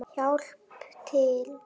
Hjálpað til!